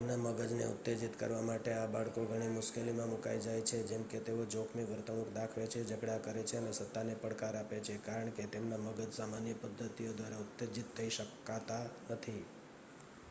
"તેમના મગજને ઉત્તેજીત કરવા માટે આ બાળકો ઘણી મુશ્કેલીમાં મુકાઈ જાય છે જેમકે તેઓ "જોખમી વર્તણૂંક દાખવે છે ઝઘડા કરે છે અને સત્તાને પડકાર આપે છે" કારણ કે તેમના મગજ સામાન્ય પદ્ધતિઓ દ્વારા ઉત્તેજિત થઈ શકાતા નથી.